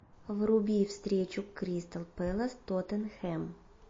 вруби встречу кристал пэлас тоттенхэм